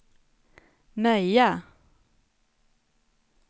Möja